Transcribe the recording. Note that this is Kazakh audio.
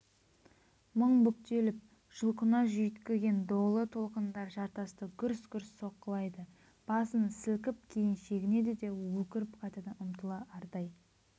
мың бүктеліп жұлқына жүйткіген долы толқындар жартасты гүрс-гүрс соққылайды басын сілкіп кейін шегінеді де өкіріп қайтадан ұмтылады ардай